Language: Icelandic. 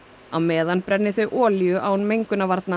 á meðan brenni þau olíu án mengunarvarna